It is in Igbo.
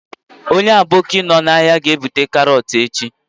Onye aboki nno n'ahịa ga-ebute karọt echi.